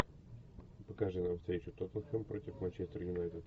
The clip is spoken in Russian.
покажи нам встречу тоттенхэм против манчестер юнайтед